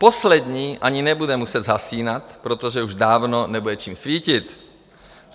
Poslední ani nebude muset zhasínat, protože už dávno nebude čím svítit.